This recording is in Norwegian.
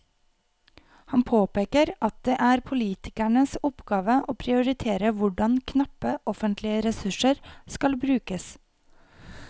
Han påpeker at det er politikernes oppgave å prioritere hvordan knappe offentlige ressurser skal brukes.